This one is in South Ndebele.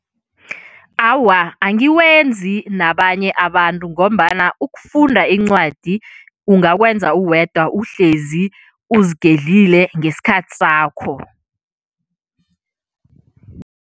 Awa, angiwenzi nabanye abantu ngombana ukufunda incwadi ungakwenza uwedwa uhlezi, uzigedlile ngesikhathi sakho.